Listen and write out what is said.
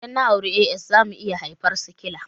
Idan na auri AS zamu iya haifar sikila